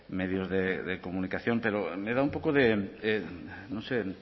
medios de comunicación pero me da un poco de